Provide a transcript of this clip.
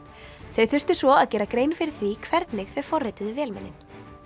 þau þurftu svo að gera grein fyrir því hvernig þau forrituðu vélmennin